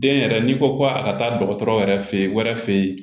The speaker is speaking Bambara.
Den yɛrɛ n'i ko ko a ka taa dɔgɔtɔrɔ yɛrɛ fɛ yen wɛrɛ fɛ yen